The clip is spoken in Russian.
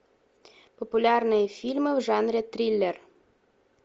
популярные фильмы в жанре триллер